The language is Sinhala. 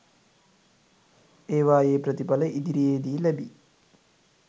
ඒවායේ ප්‍රතිඵල ඉදිරියේදී ලැබි